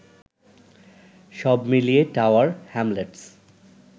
সব মিলিয়ে Tower Hamlets